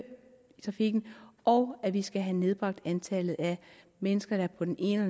trafikken og at vi skal have nedbragt antallet af mennesker der på den ene